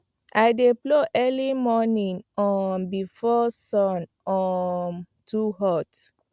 i dey plow early morning um before sun um too hot